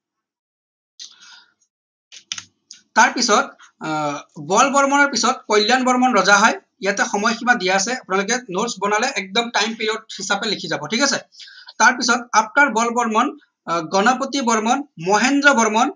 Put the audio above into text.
তাৰ পিছত আহ বল বৰ্মনৰ পিছত কল্যাণ বৰ্মন ৰজা হয় ইয়াতে সময় সিমা দিয়া আছে আপোনালোকে notes বনালে একদম time period হিচাপে লিখি যাব ঠিক আছে তাৰ পিছত after বল বৰ্মন আহ গণপতি বৰ্মন মহেন্দ্ৰ বৰ্মন